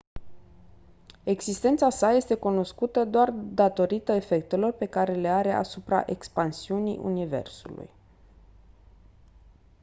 existența sa este cunoscută doar datorită efectelor pe care le are asupra expansiunii universului